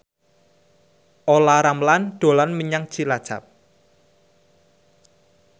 Olla Ramlan dolan menyang Cilacap